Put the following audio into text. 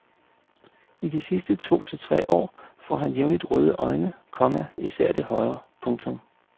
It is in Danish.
I de sidste to til tre år får han jævnligt røde øjne, komma især det højre. punktum